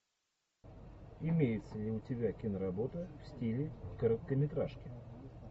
имеется ли у тебя киноработа в стиле короткометражки